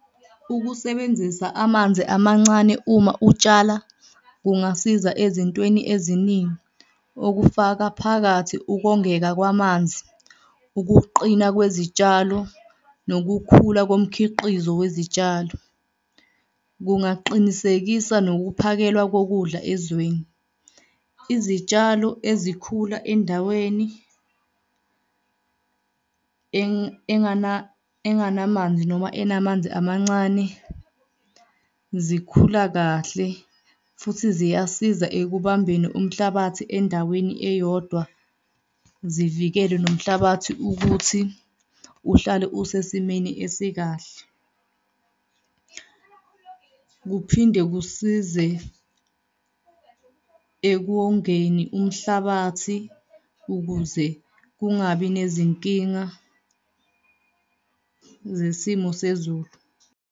Ukusebenzisa amanzi amancane uma utshala kungasiza ezintweni eziningi, okufaka phakathi ubongeka kwamanzi, ukuqina kwezitshalo, nokukhula komkhiqizo wezitshalo, kungaqinisekisa nokuphakelwa kokudla ezweni. Izitshalo ezikhula endaweni enganamanzi noma enamanzi amancane zikhula kahle futhi ziyasiza ekubumbeni umhlabathi endaweni eyodwa, zivikele nomhlabathi ukuthi uhlale usesimeni esikahle. Kuphinde kusize ekuwongeni umhlabathi ukuze kungabi nezinkinga zesimo sezulu.